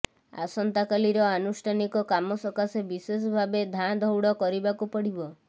ଆସନ୍ତକାଲିର ଆନୁଷ୍ଠାନିକ କାମ ସକାଶେ ବିଶେଷଭାବେ ଧାଁ ଦଉଡ କରିବାକୁ ପଡିବ